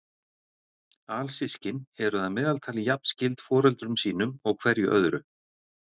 Alsystkin eru að meðaltali jafn skyld foreldrum sínum og hverju öðru.